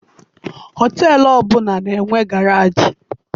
Họteelụ ọbụla na-enwe garaajị.